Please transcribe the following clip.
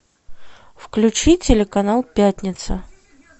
включи телеканал пятница